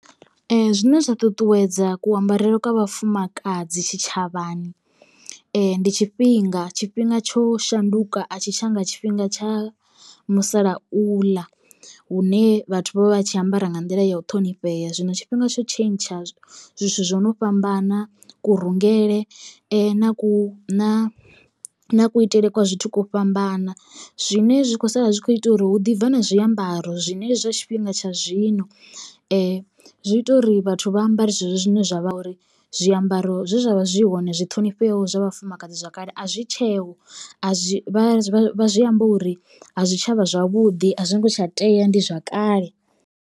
Zwine zwa ṱuṱuwedza kuambarele kwa vhafumakadzi tshitshavhani ndi tshifhinga tshifhinga tsho shanduka a tshi tshanga tshifhinga tsha musalauḽa hune vhathu vha vha vha tshi ambara nga nḓila ya u ṱhonifhea zwino tshifhinga tsho tshentsha zwithu zwo no fhambana kurungele na ku na kuitele kwa zwithu kwo fhambana. Zwine zwi sala zwi kho ita uri hu ḓi bva na zwiambaro zwine zwa tshifhinga tsha zwino zwi ita uri vhathu vha ambare zwezwo zwine zwavha uri zwiambaro zwe zwa vha zwi hone zwi ṱhonifheaho zwa vhafumakadzi zwa kale a zwi tsheho a zwi vha zwi vha zwi amba uri a zwitshavha zwavhuḓi a zwi ngo tsha tea ndi zwa kale.